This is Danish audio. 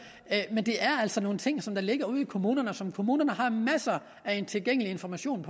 men det er altså nogle ting som ligger ude i kommunerne og som kommunerne har masser af tilgængelig information